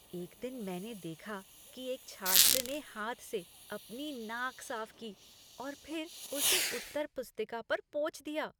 एक दिन मैंने देखा कि एक छात्र ने हाथ से अपनी नाक साफ की और फिर उसे उत्तर पुस्तिका पर पोंछ दिया।